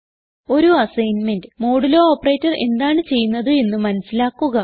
ഒരു assignment modulo operator എന്താണ് ചെയ്യുന്നത് എന്ന് മനസിലാക്കുക